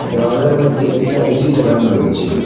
দেওয়ালের মইধ্যে একটা এ_সি লাগানো রয়েছে।